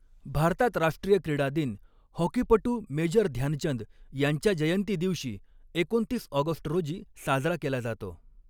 भारतात राष्ट्रीय क्रीडा दिन हॉकीपटू मेजर ध्यानचंद यांच्या जयंती दिवशी, एकोणतीस ऑगस्ट रोजी साजरा केला जातो.